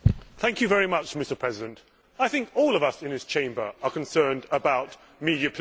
Mr President, I think all of us in this Chamber are concerned about media pluralism.